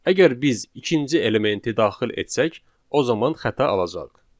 Əgər biz ikinci elementi daxil etsək, o zaman xəta alacağıq.